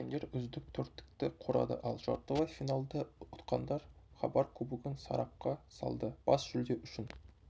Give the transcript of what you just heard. жеткендер үздік төрттікті құрады ал жартылай финалда ұтқандар хабар кубогын сарапқа салды бас жүлде үшін